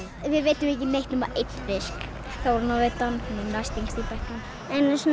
við veiddum ekki neitt nema einn fisk Þóranna veiddi hann hún er næst yngst í bekknum einu sinni